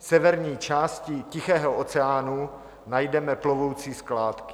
V severní části Tichého oceánu najdeme plovoucí skládky.